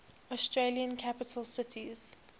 australian capital cities